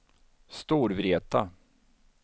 Storvreta